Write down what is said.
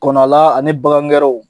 Kɔnɔ la ani bagan gɛrɛw